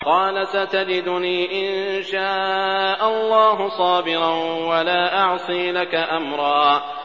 قَالَ سَتَجِدُنِي إِن شَاءَ اللَّهُ صَابِرًا وَلَا أَعْصِي لَكَ أَمْرًا